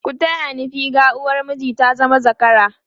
ku taya ni figa! uwar miji ta zama zakara!